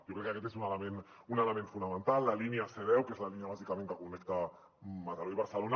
jo crec que aquest és un element fonamental la línia c10 que és la línia bàsicament que connecta mataró i barcelona